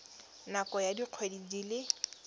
nakong ya dikgwedi di le